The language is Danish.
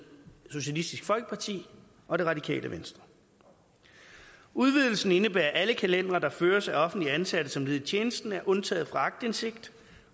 socialistisk folkeparti og det radikale venstre udvidelsen indebærer at alle kalendere der føres af offentligt ansatte som led i tjenesten er undtaget fra aktindsigt